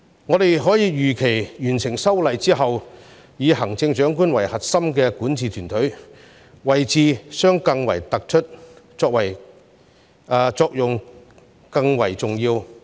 我們可以預期完成修例之後，以行政長官為核心的管治團隊，位置將更為突出，作用更為重要。